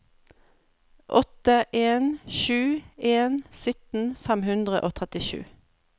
åtte en sju en sytten fem hundre og trettisju